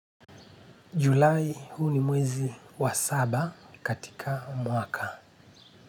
Julai huu ni mwezi wa saba katika mwaka.